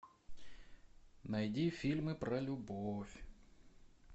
найди фильмы про любовь